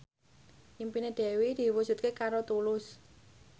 impine Dewi diwujudke karo Tulus